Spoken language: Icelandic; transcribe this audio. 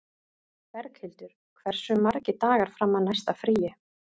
Berghildur, hversu margir dagar fram að næsta fríi?